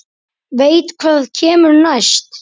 Veit hvað kemur næst.